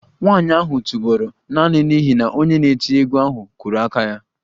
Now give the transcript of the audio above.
Nwanyị ahụ tụbọrọ naanị n'ihi na onye na-eti egwu ahụ kụrụ aka ya